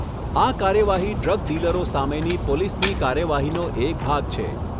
આ કાર્યવાહી ડ્રગ ડીલરો સામેની પોલીસની કાર્યવાહીનો એક ભાગ છે.